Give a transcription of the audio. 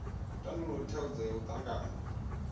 tandulule thaidzo nga u tavhanya